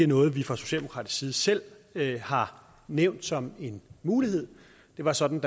noget vi fra socialdemokratisk side selv har nævnt som en mulighed det var sådan